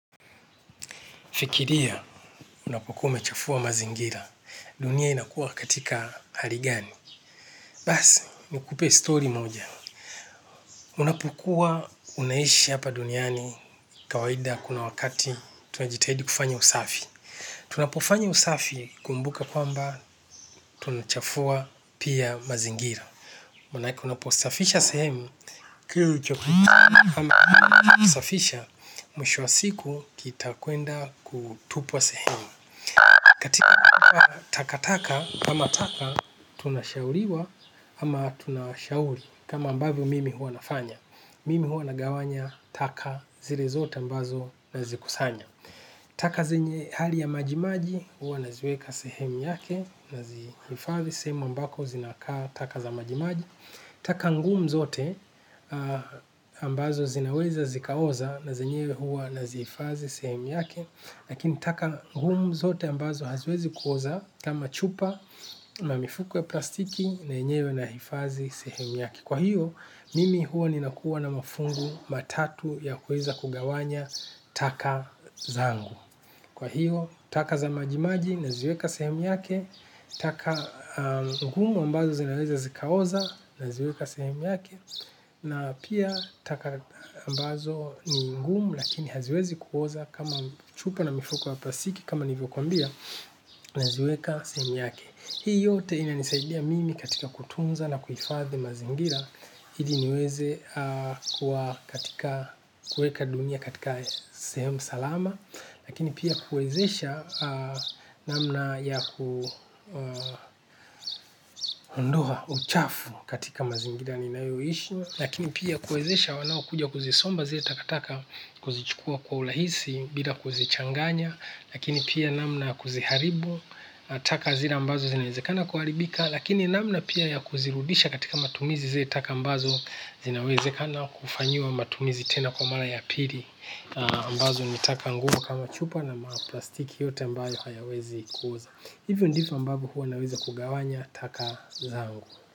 Fikiria, unapokuwa mechafua mazingira. Dunia inakuwa katika harigani. Basi, nukupe story moja. Unapokuwa unaishi hapa duniani kawahida kuna wakati tunajitahidi kufanya usafi. Tunapofanya usafi kumbuka kwamba tunachafua pia mazingira. Manake unaposafisha sehemu, kitu chokutu, ama unaposafisha, mwisho wa siku kita kuenda kutupa sehemu. Katika taka taka, kama taka tunashauriwa, ama tunashauri, kama ambavyo mimi huwa nafanya. Mimi huwa nagawanya taka zile zote ambazo nazikusanya. Taka zenye hali ya maji maji hua naziweka sehemu yake, nazihifadhi, sehemu ambako zinakaa taka za maji maji. Taka ngumu zote ambazo zinaweza zikaoza na zenyewe huwa naziifadhi, sehemu yake. Lakini taka gumu zote ambazo haziwezi kuoza kama chupa ama mifuko ya plastiki na yenyewe nahifadhi sehemu yake. Kwa hiyo mimi huwa ninakuwa na mafungu matatu ya kuweza kugawanya taka zangu. Kwa hiyo taka za majimaji naziweka sehemu yake. Taka gumu ambazo zinaweza zikaoza naziweka sehemu yake. Na pia taka ambazo ni ngumu lakini haziwezi kuoza kama chupa na mifuko wa plastiki kama nilivyokuambia naziweka sehemu yake. Hii yote inanisaidia mimi katika kutunza na kuhifadhi mazingira. Ili niweze kuwa katika kuweka dunia katika sehemu salama. Lakini pia kuwezesha namna ya kuondoa uchafu katika mazingira ninayoishi. Lakini pia kuwezesha wanaokuja kuzisomba zile takataka kuzichukua kwa urahisi bila kuzichanganya. Lakini pia namna ya kuziharibu taka zile ambazo zinawezekana kuharibika. Lakini namna pia ya kuzirudisha katika matumizi za taka ambazo zinawezekana kufanyiwa matumizi tena kwa mara ya pili ambazo ni taka ngumu kama chupa na maplastiki yote ambayo hayawezi kuuzwa hivyo ndivyo ambavyo huwa naeza kugawanya taka zangu.